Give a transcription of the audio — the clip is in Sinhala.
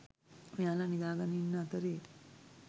මෙයාලා නිදාගෙන ඉන්න අතරේ